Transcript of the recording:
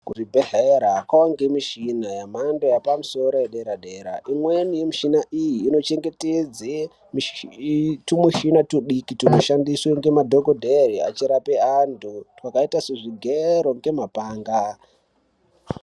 Kuzvibhedhleya kowanikwe michina yemhando yepamusoro yedera dera imweni yemichina iyi inochengetedze tumichina tudiki tunodhandise madhokodheya achirapa vantu twakaita sezvigero ngemapanga.